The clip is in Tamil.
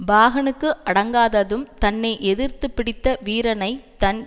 பாகனுக்கு அடங்காததும் தன்னை எதிர்த்து பிடித்த வீரனைத் தன்